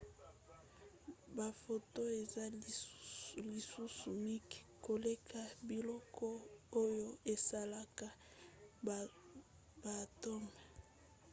baphotons eza lisusu mike koleka biloko oyo esalaka baatomes!